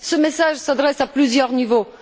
Ce message s'adresse à plusieurs niveaux.